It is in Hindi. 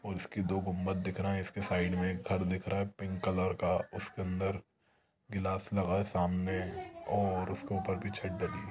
और इसकी दो गुंबद दिख रहे है और उसके साइड में एक घर दिख रहा है पिंक कलर का उसके अंदर गिलास लगा है सामने और उसके ऊपर भी छत डली--